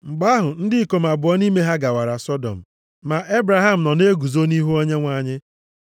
Mgbe ahụ, ndị ikom abụọ nʼime ha gawara Sọdọm. Ma Ebraham nọ na-eguzo nʼihu Onyenwe anyị.